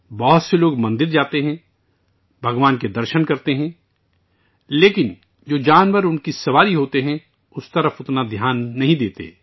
بہت سے لوگ مندروں میں جاتے ہیں، خدا کی زیارت کرتے ہیں، لیکن ان جانوروں پر زیادہ توجہ نہیں دیتے جو ان پر سوار ہوتے ہیں